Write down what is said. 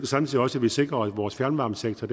samtidig også at vi sikrer at vores fjernvarmesektor